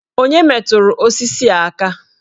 Onye metụrụ osisi a aka?